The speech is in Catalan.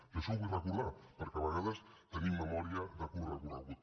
i això ho vull recordar perquè a vegades tenim memòria de curt recorregut